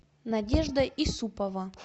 надежда исупова